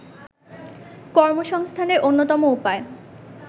কর্মসংস্থানের অন্যতম উপায়